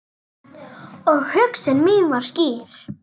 Og hugsun mín var skýr.